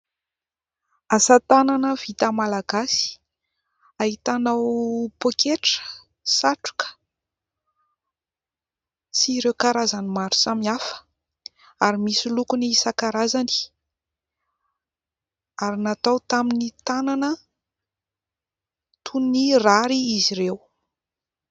Asa tanana vita malagasy ahitanao pôketra, satroka sy ireo karazany maro samihafa ary misy lokony isan-karazany ary natao tamin'ny tanana toy ny rary izy ireo.